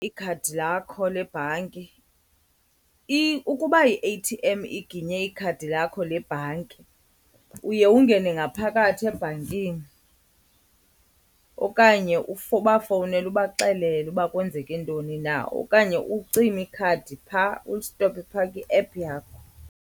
Ikhadi lakho lebhanki. Ukuba i-A_T_M iginye ikhadi lakho lebhanki uye ungene ngaphakathi ebhankini okanye ubafowunele ubaxelele uba kwenzeke ntoni na. Okanye ucime ikhadi phaa, ulistophe phaa kwi-app yakho.